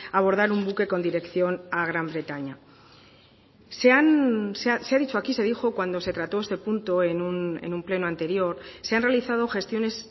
abordar un buque con dirección a gran bretaña se ha dicho aquí se dijo cuando se trató este punto en un pleno anterior se han realizado gestiones